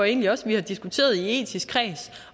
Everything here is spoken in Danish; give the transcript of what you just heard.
egentlig også at vi har diskuteret i etisk kreds